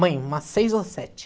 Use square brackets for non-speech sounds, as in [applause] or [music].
[unintelligible] umas seis ou sete.